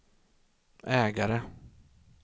ägare